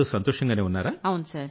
అందరూ సంతోషంగానే ఉన్నారా